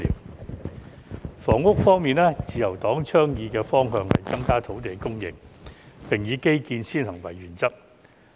在房屋方面，自由黨倡議的方向是增加土地供應，並以基建先行為原則。